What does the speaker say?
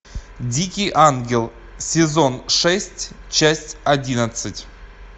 дикий ангел сезон шесть часть одиннадцать